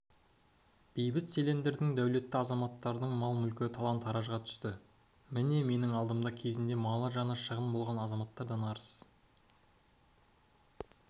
бейбіт селендердің дәулетті азаматтардың мал-мүлкі талан-таражға түсті міне менің алдымда кезінде малы-жаны шығын болған азаматтардан арыз